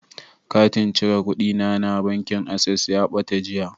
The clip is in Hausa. Katin cire kuɗina na bankin Access ya ɓata jiya.